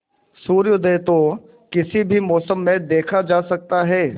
सूर्योदय तो किसी भी मौसम में देखा जा सकता है